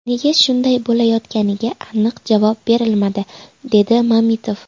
Nega shunday bo‘layotganiga aniq javob berilmadi”, dedi Mamitov.